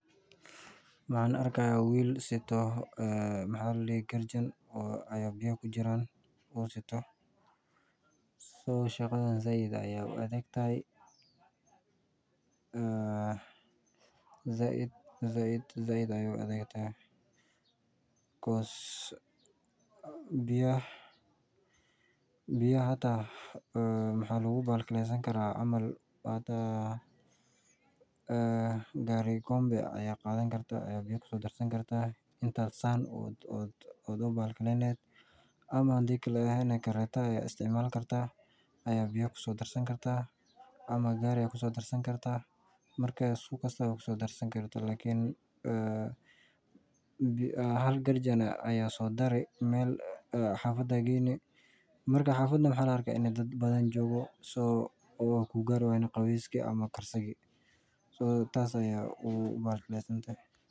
Maxaan arki haaya wiil aito garjin biya kujiraan shaqadan sait ayeey u adag tahay biyaha gaari gombe ayaa qadani kartaa ama kareeta ayaa isticmaali kartaa ama gaari lakin hal garjin aya soo dari meel xafad ayaa geyni laga yaaba in labadan yahay.